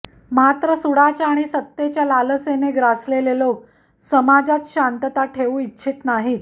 मात्र सूडाच्या आणि सत्तेच्या लालसेने ग्रासलेले लोक समाजात शांतता ठेऊ इच्छित नाहीत